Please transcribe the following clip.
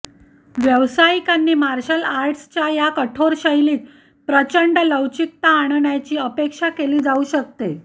व्यावसायिकांनी मार्शल आर्ट्सच्या या कठोर शैलीत प्रचंड लवचिकता आणण्याची अपेक्षा केली जाऊ शकते